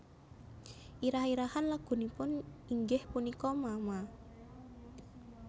Irah irahan lagunipun inggih punika mama